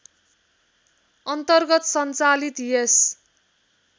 अन्तर्गत सञ्चालित यस